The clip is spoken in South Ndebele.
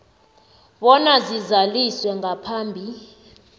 bona zizaliswe ngaphambi